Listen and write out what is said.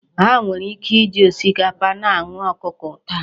Ha nwere ike isi osikapa na anụ ọkụkọ taa.